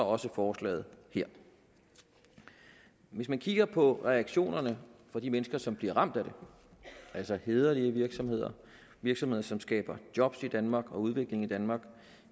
også forslaget her hvis man kigger på reaktionerne fra de mennesker som bliver ramt af det altså hæderlige virksomheder virksomheder som skaber jobs i danmark og udvikling i danmark